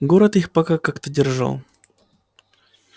город их пока как-то держал